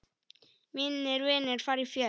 Mínir vinir fara fjöld.